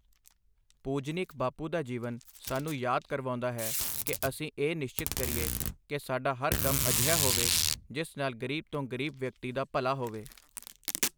ਪੂਜਨੀਕ ਬਾਪੂ ਦਾ ਜੀਵਨ ਸਾਨੂੰ ਯਾਦ ਦਿਵਾਉਦਾ ਹੈ ਕਿ ਅਸੀਂ ਇਹ ਨਿਸ਼ਚਿਤ ਕਰੀਏ ਕਿ ਸਾਡਾ ਹਰ ਕੰਮ ਅਜਿਹਾ ਹੋਵੇ, ਜਿਸ ਨਾਲ ਗ਼ਰੀਬ ਤੋਂ ਗ਼ਰੀਬ ਵਿਅਕਤੀ ਦਾ ਭਲਾ ਹੋਵੇ।